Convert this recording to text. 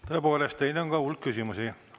Tõepoolest, teile on ka hulk küsimusi.